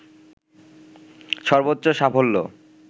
সর্বোচ্চ সাফল্য